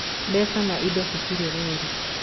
Mbeca na indo citirĩ rũũri